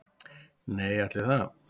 Nei, ætli það.